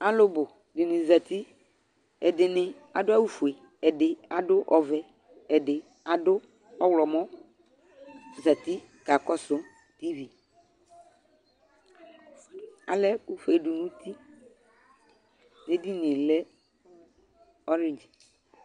Alu bu di ni zati Ɛdini adʋ awu fue, ɛdi aɖʋ ɔvɛ, ɛdi adʋ ɔɣlɔmɔ zati kakɔsʋ TVAlɛkʋfue du nutiEdinie lɛ hall